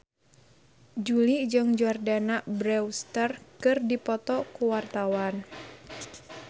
Jui jeung Jordana Brewster keur dipoto ku wartawan